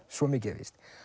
svo mikið er víst